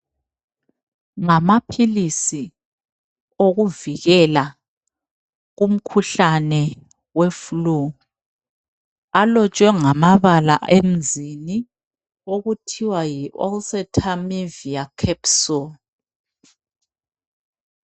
Ngama philisi okuvikela umkhuhlane weflue. Alotshwe ngamabala emzini okuthiwa yi Olxatenivia capsule.